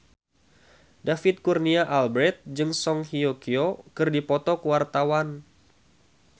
David Kurnia Albert jeung Song Hye Kyo keur dipoto ku wartawan